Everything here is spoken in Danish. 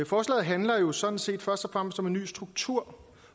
forslaget handler jo sådan set først og fremmest om en ny struktur